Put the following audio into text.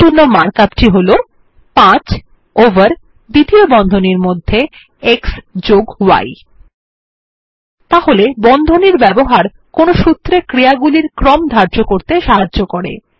এরজন্য মার্ক আপটি হল 5 ওভার দ্বিতীয় বন্ধনীর মধ্যে xy তাহলে বন্ধনীর ব্যবহার কোনো সুত্রে ক্রিয়াগুলির ক্রম ধার্য করতে সাহায্য করে